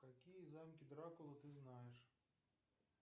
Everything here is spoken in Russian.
какие замки дракулы ты знаешь